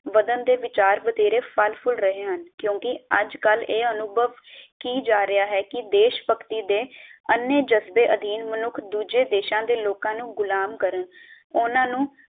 ਵਧਣ ਦੇ ਵਿਚਾਰ ਵਧੇਰੇ ਫੱਲ ਫੁੱਲ ਰਹੇ ਹੱਨ ਕਿਉਂਕਿ ਅਜਕਲ ਇਹ ਅਨੁਭਵ ਕੀ ਜਾ ਰਿਹਾ ਹੈ ਕੀ ਦੇਸ਼ਭਕਤੀ ਦੇ ਅੰਨ੍ਹੇ ਜਜ਼ਬੇ ਅਧੀਨ ਮਨੁੱਖ ਦੂਜੇ ਦੇਸ਼ਾਂ ਦੇ ਲੋਕਾਂ ਨੂੰ ਗੁਲਾਮ ਕਰ ਉਨ੍ਹਾਂ ਨੂੰ